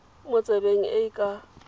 mo tsebeng e e ka